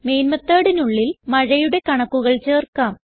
main methodനുള്ളിൽ മഴയുടെ കണക്കുകൾ ചേർക്കാം